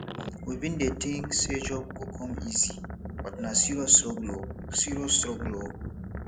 we bin dey tink sey job go come easy but na serious struggle o serious struggle o